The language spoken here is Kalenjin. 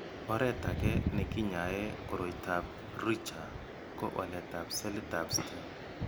Oret age nekinyae koroitoab Richter ko waletab selitab Stem.